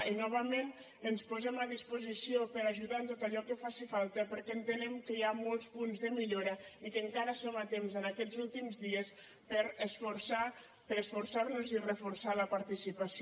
i novament ens posem a disposició per a ajudar en tot allò que faci falta perquè entenem que hi ha molts punts de millora i que encara som a temps en aquests últims dies per a esforçarnos i reforçar la participació